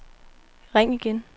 ring igen